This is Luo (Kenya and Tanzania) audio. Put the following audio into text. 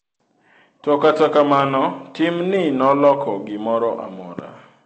To kata kamano timni noloko gimoro amora?